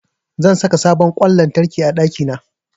Zan saka sabon ƙwan lantarki a ɗakina.